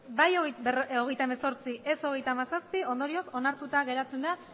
bai hogeita hemezortzi ez hogeita hamazazpi ondorioz onartuta geratzen da